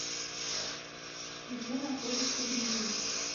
где находится гризли